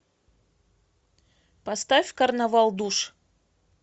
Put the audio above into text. поставь карнавал душ